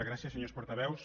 gràcies senyors portaveus